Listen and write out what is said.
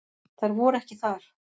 Þær voru ekki þar.